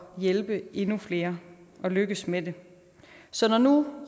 hjælpe endnu flere og lykkes med det så når nu